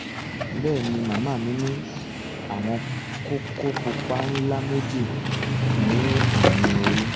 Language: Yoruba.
bẹ́ẹ̀ ni màmá mi ní àwọn kókó pupa ńlá méjì ní ẹ̀yìn orí